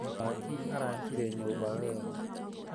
Mũaki araakire nyũmba wega.